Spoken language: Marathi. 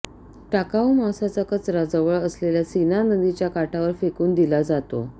टाकाऊ मांसाचा कचरा जवळ असलेल्या सीना नदीच्या काठावर फेकून दिला जातो